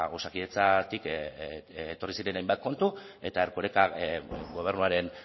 osakidetzatik etorri ziren hainbat kontu eta erkorekak gobernuaren